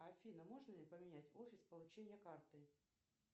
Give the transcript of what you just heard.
афина можно ли поменять офис получения карты